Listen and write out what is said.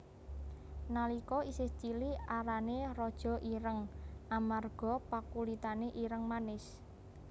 Nalika isih cilik arané Rara Ireng amarga pakulitané ireng manis